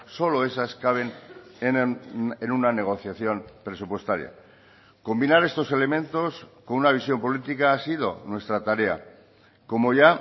solo esas caben en una negociación presupuestaria combinar estos elementos con una visión política ha sido nuestra tarea como ya